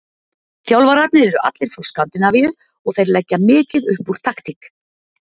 Þjálfararnir eru allir frá Skandinavíu og þeir leggja mikið upp úr taktík.